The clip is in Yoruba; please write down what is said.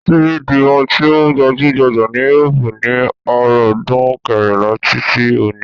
Síbí di ohun tí ó gbajúgbajà ni írópù ní ọ̀rúndún kẹrìnlá tí tí oní.